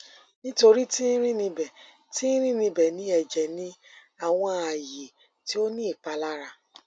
nitori ti rin nibẹ ti rin nibẹ ni ẹjẹ ni awọn aaye ti o ni ipalara